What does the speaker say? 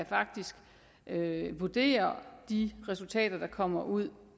faktisk kan vurdere de resultater der kommer ud